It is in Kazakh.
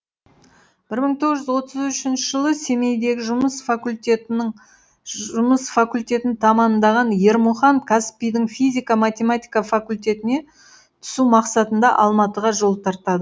бір мың тоғыз жүз отыз үшінші жылы семейдегі жұмыс факультетін тәмамдаған ермұхан қазпи дің физика математика факультетіне түсу мақсатында алматыға жол тартады